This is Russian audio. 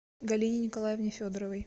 галине николаевне федоровой